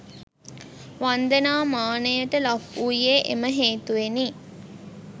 වන්දනා මානයට ලක්වූයේ එම හේතුවෙනි.